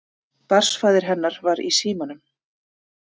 Barnsfaðir hennar var í símanum.